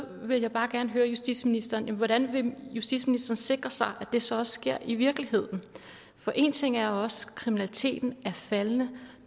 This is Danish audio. vil jeg bare gerne høre justitsministeren hvordan vil justitsministeren sikre sig at det så også sker i virkeligheden for en ting er også at kriminaliteten er faldende